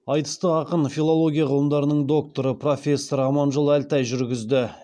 айтысты ақын филология ғылымдарының докторы профессор аманжол әлтай жүргізді